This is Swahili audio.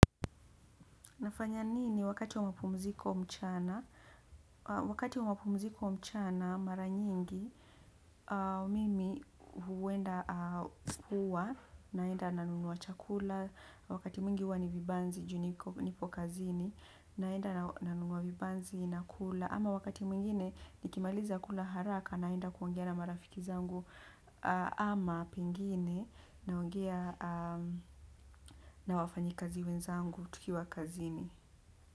Nafanya nini wakati wa mapumziko mchana. Wakati wa mapumziko mchana mara nyingi mimi huenda huwa naenda nanunua chakula wakati mwingi huwa ni vibanzi, juu niko niko kazini, naenda nanunua vibanzi nakula. Ama wakati mwingine nikimaliza kula haraka naenda kuongea na marafiki zangu ama pengine naongea na wafanyikazi wenzangu tukiwa kazini.